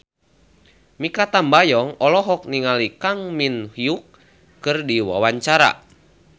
Mikha Tambayong olohok ningali Kang Min Hyuk keur diwawancara